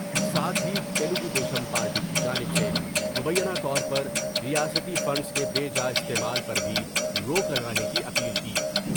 ساتھ ہی تلگو دیشم پارٹی کی جانب سے مبینہ طور پر ریاستی فنڈس کے بے جا استعمال پر بھی روک لگانے کی اپیل کی ۔